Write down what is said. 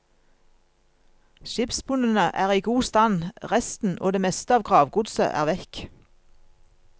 Skipsbunnene er i god stand, resten og det meste av gravgodset er vekk.